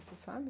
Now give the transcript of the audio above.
Você sabe?